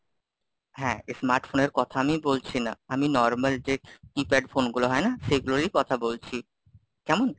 হ্যাঁ smartphone এর কথা আমি বলছি না, আমি normal যে keypad phone গুলো হয় না, সেগুলোরই কথা বলছি, কেমন?